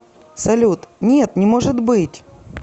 салют нет не может быть